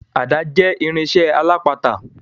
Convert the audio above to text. Ada jẹ́ irinsẹ́ alápatà.